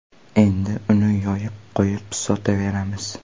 Endi uni yoyib qo‘yib sotaveramiz.